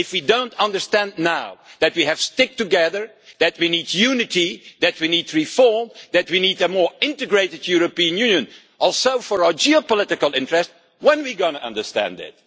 If we don't understand now that we have to stick together, that we need unity, that we need reform, that we need a more integrated European Union also for our geopolitical interests then when are we going to understand it?